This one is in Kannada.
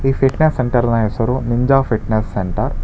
ಈ ಫಿಟ್ನೆಸ್ ಸೆಂಟರ್ ನ ಹೆಸರು ನಿಂಜಾ ಫಿಟ್ನೆಸ್ ಸೆಂಟರ್ .